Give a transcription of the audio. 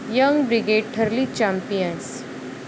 young brigade ठरली champions